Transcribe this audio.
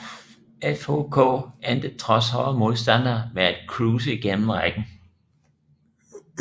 FHK endte trods hårde modstandere med at cruise igennem rækken